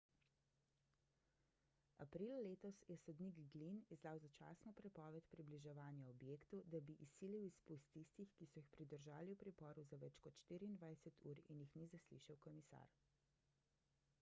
aprila letos je sodnik glynn izdal začasno prepoved približevanja objektu da bi izsilil izpust tistih ki so jih pridržali v priporu za več kot 24 ur in jih ni zaslišal komisar